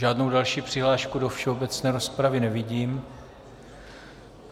Žádnou další přihlášku do všeobecné rozpravy nevidím.